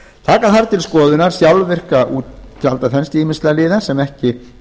taka þarf til skoðunar sjálfvirka útgjaldaþenslu ýmissa fjárlagaliða sem ekki